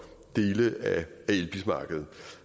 dele af elbilmarkedet